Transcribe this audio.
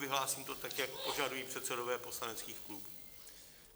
Vyhlásím to tak, jak požadují předsedové poslaneckých klubů.